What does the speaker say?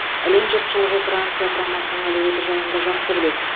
әлем жұртшылығы франция құрамасының әлеуеті жайында жақсы біледі